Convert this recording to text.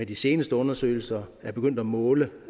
de seneste undersøgelser er begyndt at måle